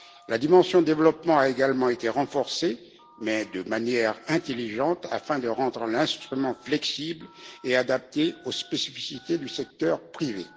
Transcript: La dimension développement a également été renforcée, mais de manière intelligente, afin de rendre l'instrument flexible et adapté aux spécificités du secteur privé.